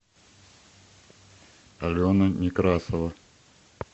алена некрасова